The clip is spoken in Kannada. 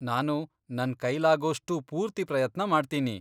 ನಾನು ನನ್ ಕೈಲಾಗೋಷ್ಟೂ ಪೂರ್ತಿ ಪ್ರಯತ್ನ ಮಾಡ್ತೀನಿ.